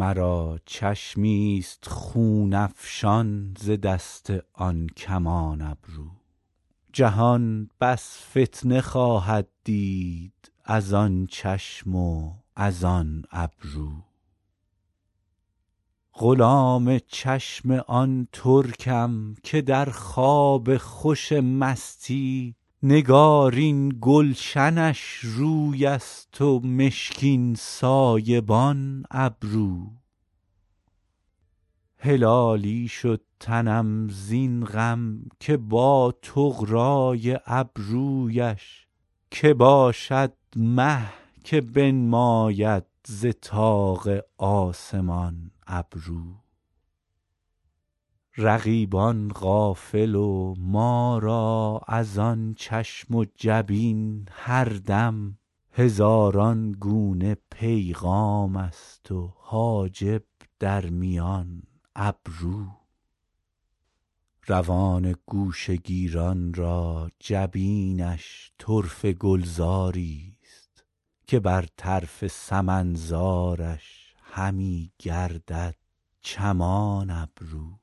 مرا چشمی ست خون افشان ز دست آن کمان ابرو جهان بس فتنه خواهد دید از آن چشم و از آن ابرو غلام چشم آن ترکم که در خواب خوش مستی نگارین گلشنش روی است و مشکین سایبان ابرو هلالی شد تنم زین غم که با طغرا ی ابرو یش که باشد مه که بنماید ز طاق آسمان ابرو رقیبان غافل و ما را از آن چشم و جبین هر دم هزاران گونه پیغام است و حاجب در میان ابرو روان گوشه گیران را جبینش طرفه گلزار ی ست که بر طرف سمن زارش همی گردد چمان ابرو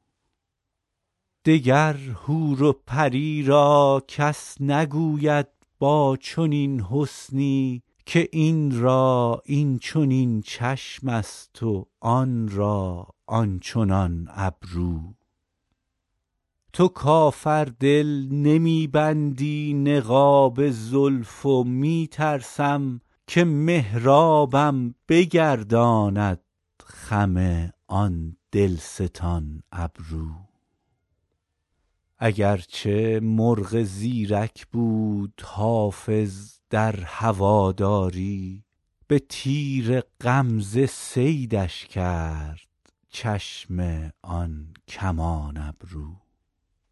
دگر حور و پری را کس نگوید با چنین حسنی که این را این چنین چشم است و آن را آن چنان ابرو تو کافر دل نمی بندی نقاب زلف و می ترسم که محرابم بگرداند خم آن دل ستان ابرو اگر چه مرغ زیرک بود حافظ در هوادار ی به تیر غمزه صیدش کرد چشم آن کمان ابرو